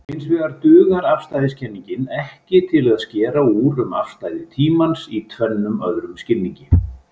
Hinsvegar dugar afstæðiskenningin ekki til að skera úr um afstæði tímans í tvennum öðrum skilningi.